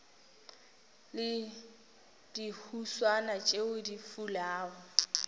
le dihuswane tšeo di fulago